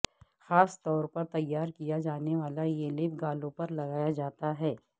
خاص طور پر تیار کیا جانے والا یہ لیپ گالوں پر لگایا جاتا ہے